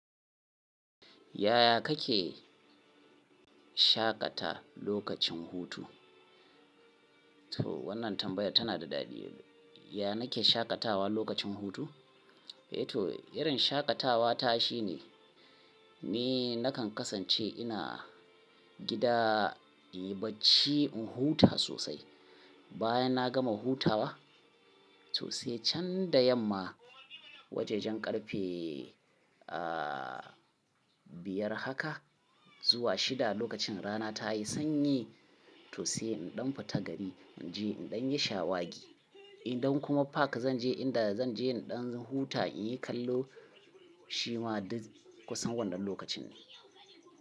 Yaya kake shaƙata lokacin hutu? To wannan tambaya tana da daɗi. Yaya nake shaƙatawa lokacin hutu? Eh to irin shaƙatawa ta shine, ni nakan kasance ina gida, in bacci, in huta sosai. Bayan na gama hutawa sosai can da yamma, wajajen ƙarfe, a, biyar haka zuwa shida lokacin rana tayi sanyi sosai in ɗau fata gari in je in ɗan yi shawagi. In ɗau kuma park zan je inda zan je in ɗan huta in yi kallo. Shi ma kusan wannan lokacin ne.